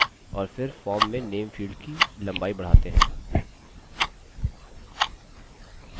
और फिर form में name field की लम्बाई बढ़ाते हैं